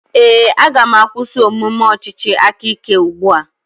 Ee, aga m akwụsị omume ọchịchị aka ike ugbu a.